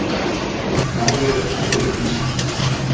Málið er talið upplýst